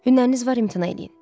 Hünəriniz var, imtina eləyin.